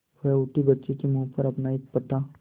वह उठी बच्चे के मुँह पर अपना एक फटा